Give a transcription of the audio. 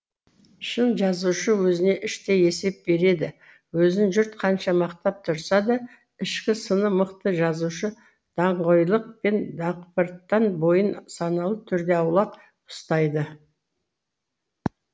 шын жазушы өзіне іштей есеп береді өзін жұрт қанша мақтап тұрса да ішкі сыны мықты жазушы даңғойлық пен дақпырттан бойын саналы түрде аулақ ұстайды